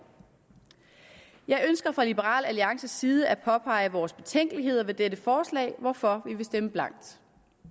jeg ønsker fra liberal alliances side at påpege vores betænkeligheder ved dette forslag hvorfor vi vil stemme blankt